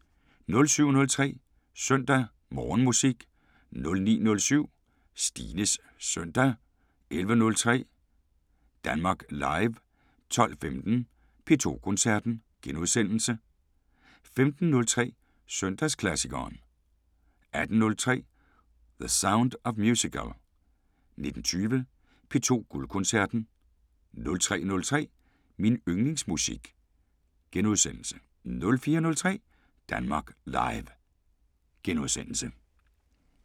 07:03: Søndag Morgenmusik 09:07: Stines søndag 11:03: Danmark Live 12:15: P2 Koncerten * 15:03: Søndagsklassikeren 18:03: The Sound of Musical 19:20: P2 Guldkoncerten 03:03: Min yndlingsmusik * 04:03: Danmark Live *